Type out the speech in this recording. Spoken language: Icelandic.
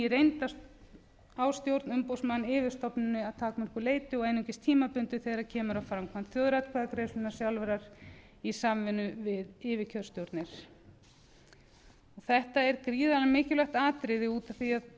reynd á stjórn umboðsmanns yfir stofnuninni að takmörkuðu leyti og einungis tímabundið þegar kemur að framkvæmd þjóðaratkvæðagreiðslunnar sjálfrar í samvinnu við yfirkjörstjórnir þetta er gríðarlega mikilvægt atriði út af því að það sem